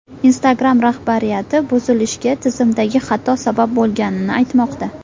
Instagram rahbariyati buzilishga tizimdagi xato sabab bo‘lganini aytmoqda.